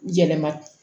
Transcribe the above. Yɛlɛma